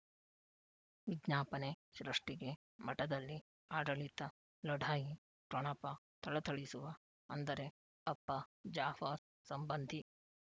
ವಿಜ್ಞಾಪನೆ ಸೃಷ್ಟಿಗೆ ಮಠದಲ್ಲಿ ಆಡಳಿತ ಲಢಾಯಿ ಠೊಣಪ ಥಳಥಳಿಸುವ ಅಂದರೆ ಅಪ್ಪ ಜಾಫರ್ ಸಂಬಂಧಿ